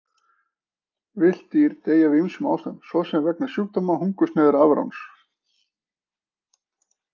Villt dýr deyja af ýmsum ástæðum, svo sem vegna sjúkdóma, hungursneyðar eða afráns.